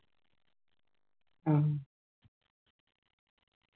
ആ